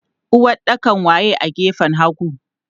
Uwaɗɗakan waye a gefen hagu?